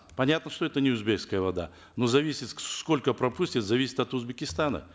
понятно что это не узбекская вода но зависит сколько пропустит зависит от узбекистана